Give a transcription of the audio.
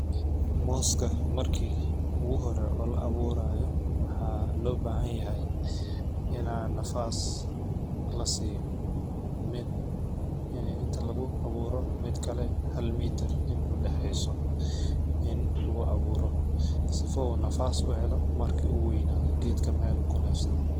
Mooska marki ugu hore oo la awuurayo waxaa loo baahan yahay inaan nafaas la siiyo ,mid ini inta kagu awuuro mid kale hal miitar in ay u dhaxeeyso in lagu awuuro sifa uu nafaas uu u helo marki uu weynaado geedka meel uu ka neefsado.